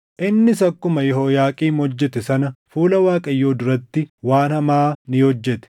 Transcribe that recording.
Innis akkuma Yehooyaaqiim hojjete sana fuula Waaqayyoo duratti waan hamaa ni hojjete.